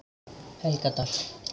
Helgadal